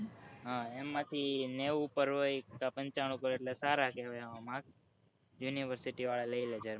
હ એમાં થી નેવું પર હોય પંચાણું પર હોય એટલે સારા કેહવાય એવા marksunivercity વાળા લઈ લે